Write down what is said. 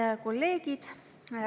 Head kolleegid!